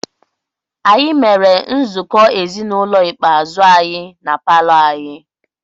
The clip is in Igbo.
Anyị mere nzukọ ezinụlọ ikpeazụ anyị na palọ anyị.